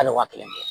Hali wa kelen